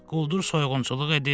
Quldur soyğunçuluq edir.